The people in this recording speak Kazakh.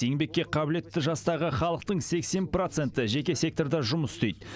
еңбекке қабілетті жастағы халықтың сексен проценті жеке секторда жұмыс істейді